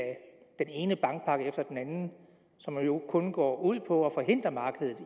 den ene bankpakke efter den anden som jo kun går ud på at forhindre markedet